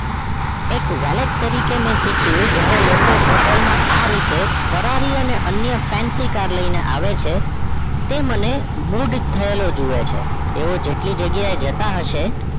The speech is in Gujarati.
એક વેલટ તરીકે મે શીખ્યું જ્યારે લોકો hotel આ રીત ફરારી અને અન્ fancycar લઈને આવે છે તે મન mood થયેલો જોવે છે તેવો જેટલી જગ્યાએ જતાં હશે